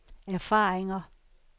erfaringer